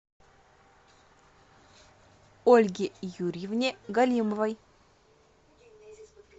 ольге юрьевне галимовой